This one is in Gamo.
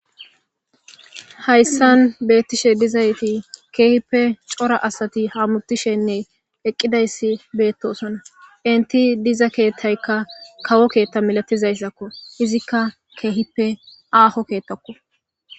Hayssan beettishe dizayti keehippe cora asati ha mutishenne eqqidayssi beettosona inti diza keettaykka kawo keetta milatizayssakko izikka keehippe aaho keettakko.